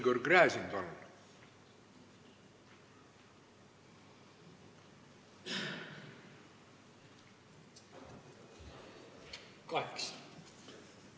Igor Gräzin, palun!